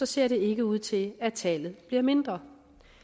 ser det ikke ud til at tallet bliver mindre